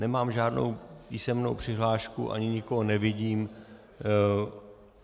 Nemám žádnou písemnou přihlášku ani nikoho nevidím.